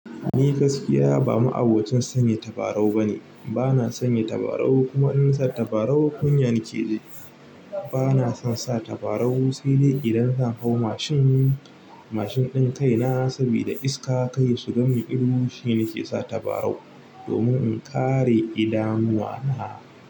Ni gaskiya ba ma abocin sanya tabarau bane. Bana sanya tabarau kuma in na sa tabarau kunya nake ji. Bana son sa tabarau sai dai idan zan hau mashin. Mashin ɗin kaina sabida iska kar ya shiga min ido shine na ke sa tabarau domin in kare idanuwa na.